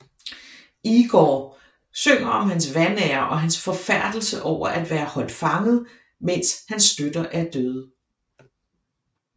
Igor synger om hans vanære og hans forfærdelse over at være holdt fanget mens hans støtter er døde